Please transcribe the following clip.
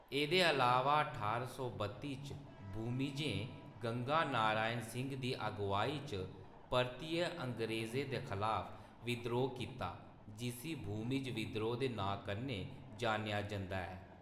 एह्‌‌‌दे अलावा ठारां सौ बत्ती च, भूमिजें गंगा नारायण सिंह दी अगुआई च परतियै अंग्रेजें दे खलाफ विद्रोह् कीता जिस्सी भूमिज विद्रोह दे नांऽ कन्नै जान्नेआ जंदा ऐ।